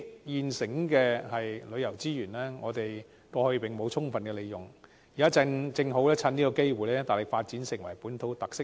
我們過去沒有充分利用這些現成的旅遊資源，現在正好趁這機會大力發展本土特色遊。